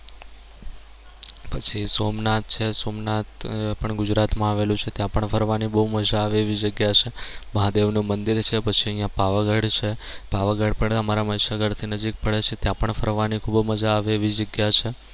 પછી સોમનાથ છે સોમનાથ પણ ગુજરાત માં આવેલું છે ત્યાં પણ ફરવાની બહુ મજા આવે એવી જગ્યા છે મહાદેવનું મંદિર છે પછી અહિયાં પાવાગઢ છે પાવાગઢ પણ અમારા મહીસાગર થી નજીક પડે છે ત્યાં પણ ફરવાની ખૂબ મજા આવે એવી જગ્યા છે.